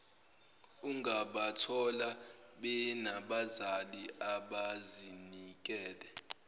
ungabathola benabazali abazinikele